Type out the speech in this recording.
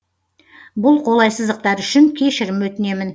бұл қолайсыздықтар үшін кешірім өтінемін